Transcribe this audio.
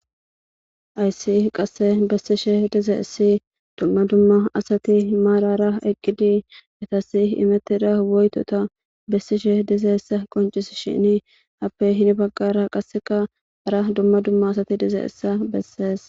Hayssi qasse bessishe dizayssi dumma dumma asati maarara eqqidi etasi imettida woytota bessishe dizayssa qoncisshini appe hin baggara qasseka hara dumma dumma asati dizayssa bessees.